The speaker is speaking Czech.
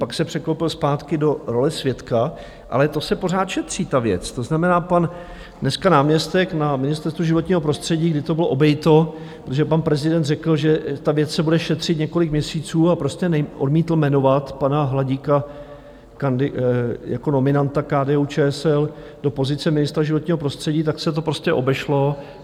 Pak se překlopil zpátky do role svědka, ale to se pořád šetří, ta věc, to znamená, pan dneska náměstek na Ministerstvu životního prostředí, kdy to bylo obejito, protože pan prezident řekl, že ta věc se bude šetřit několik měsíců, a prostě odmítl jmenovat pana Hladíka jako nominanta KDU-ČSL do pozice ministra životního prostředí, tak se to prostě obešlo.